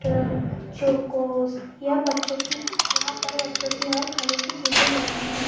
तो चोकोस यह बच्चों की यहाँ पर बच्चों की हर खाने की चीज मिलती है।